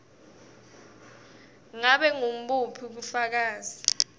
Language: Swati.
ngabe ngubuphi bufakazi